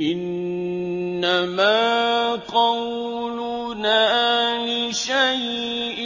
إِنَّمَا قَوْلُنَا لِشَيْءٍ